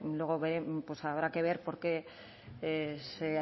luego habrá que ver porqué se